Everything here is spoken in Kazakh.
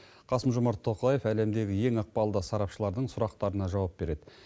қасым жомарт тоқаев әлемдегі ең ықпалды сарапшылардың сұрақтарына жауап береді